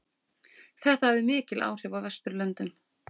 Þetta hafði mikil áhrif á Vesturlöndum.